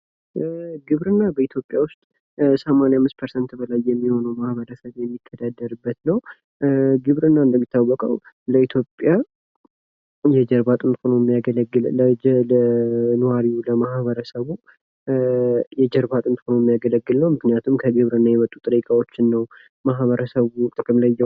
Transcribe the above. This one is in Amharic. ግብርና በኢትዮጵያ ዉስጥ ከ85% በላይ የሚሆነዉ ህዝብ የሚተዳደርበት ነዉ። ግብርና እንደሚታወቀዉ የኢትዮጵያ የጀርባ አጥንት ሆኖ የሚያገለግል ኗሪ ለማህበረሰቡ የጀርባ አጥንት ሆኖ የሚያገለግል ነዉ። ምክንያቱም ከግብርና የመጡ ጥሬ እቃዎችን ነዉ ማህበረሰቡ ጥቅም ላይ የሚያዉለዉ።